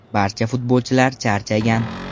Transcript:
Barcha futbolchilar charchagan.